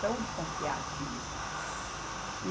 São desconfiados mesmo.